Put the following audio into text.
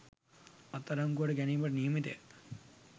අත්අඩංගුවට ගැනීමට නියමිතය